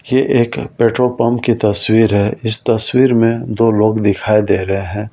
ये एक petrol pump की तस्वीर है इस तस्वीर में दो लोग दिखाई दे रहे हैं ।